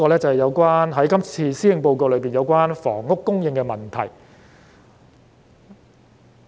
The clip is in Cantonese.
最後，我想談談今次施政報告中有關房屋供應問題的內容。